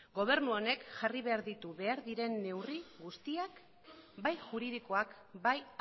gobernu honek jarri behar ditu behar diren neurri guztiak bai juridikoak bai